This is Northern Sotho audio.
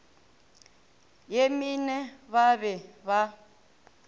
ye mene ba be ba